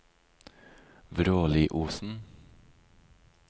Vråliosen